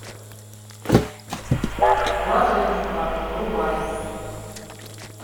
блаженство врубай